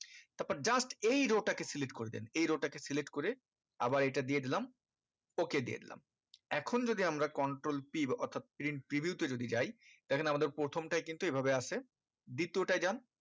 তারপর just এই row টাকে select করবেন এই row টাকে select করে আবার এই টা দিয়ে দিলাম ok দিয়ে দিলাম এখন যদি আমরা control p বা অর্থাৎ print preview তে যদি যায় দেখেন আমাদের প্রথমটাই কিন্তু এই ভাবে আছে দ্বিতীয়টাই যান